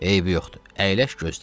Eybi yoxdur, əyləş gözlə.